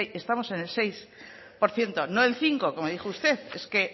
estamos en el seis por ciento no en el cinco como dijo usted es que